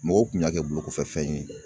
Mɔgɔw kun y'a kɛ bolokɔfɛfɛn ye